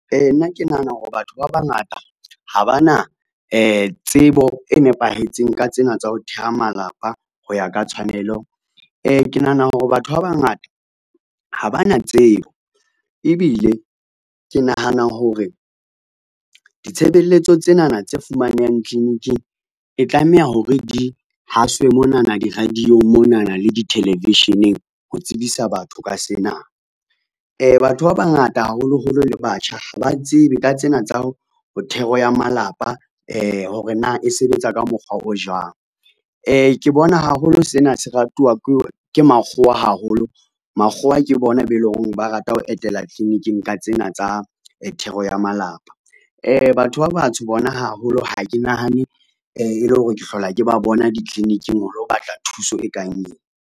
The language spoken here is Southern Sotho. Nna ke nahana hore batho ba bangata ha ba na tsebo e nepahetseng ka tsena tsa ho theha malapa ho ya ka tshwanelo. Ke nahana hore batho ba bangata ha ba na tsebo, ebile ke nahana hore ditshebeletso tsenana tse fumanehang tliliniking e tlameha hore di haswe monana di-radio-ng, monana le di-television-eng ho tsebisa batho ka sena. Batho ba bangata, haholoholo le batjha ha ba tsebe ka tsena tsa ho thero ya malapa hore na e sebetsa ka mokgwa o jwang. Ke bona haholo sena se ratuwa ke makgowa haholo, makgowa ke bona be eleng hore ba rata ho etela tliliniking ka tsena tsa thero ya malapa. Batho ba batsho bona haholo ha ke nahane e le hore ke hlola ke ba bona ditliliniking ho lo batla thuso e kang ena.